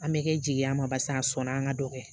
An bɛ kɛ jigiya ma barisa a sɔnna an ka dɔ kɛ